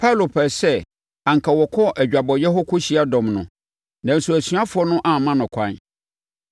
Paulo pɛɛ sɛ anka ɔkɔ adwabɔeɛ hɔ kɔhyia dɔm no, nanso asuafoɔ no amma no kwan.